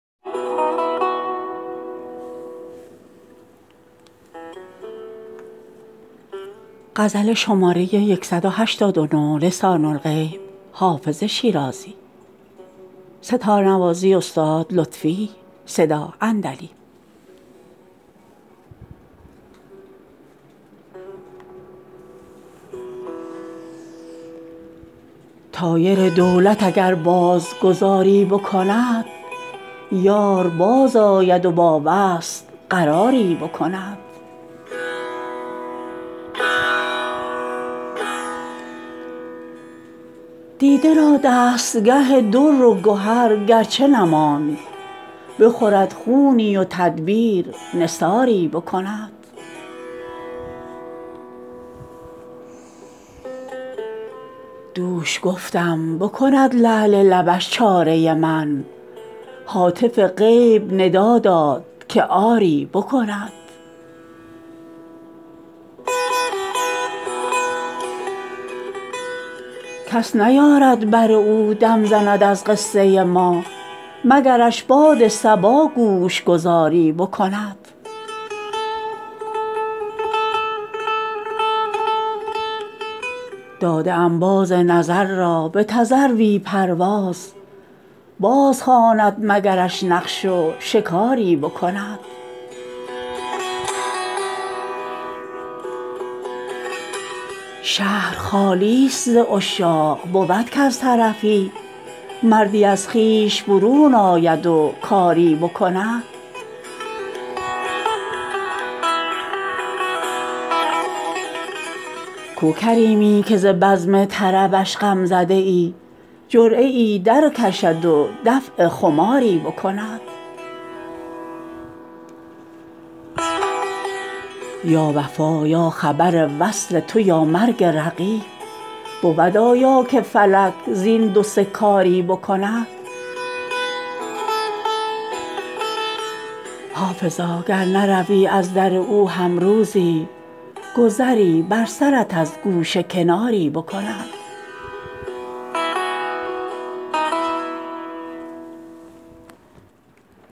طایر دولت اگر باز گذاری بکند یار بازآید و با وصل قراری بکند دیده را دستگه در و گهر گر چه نماند بخورد خونی و تدبیر نثاری بکند دوش گفتم بکند لعل لبش چاره من هاتف غیب ندا داد که آری بکند کس نیارد بر او دم زند از قصه ما مگرش باد صبا گوش گذاری بکند داده ام باز نظر را به تذروی پرواز بازخواند مگرش نقش و شکاری بکند شهر خالی ست ز عشاق بود کز طرفی مردی از خویش برون آید و کاری بکند کو کریمی که ز بزم طربش غم زده ای جرعه ای درکشد و دفع خماری بکند یا وفا یا خبر وصل تو یا مرگ رقیب بود آیا که فلک زین دو سه کاری بکند حافظا گر نروی از در او هم روزی گذری بر سرت از گوشه کناری بکند